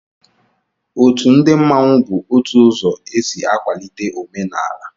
Òtù ndị mmanwu bu ótù ụzọ e sị akwalite omenala